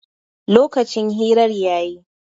Lokacin hirar ya yi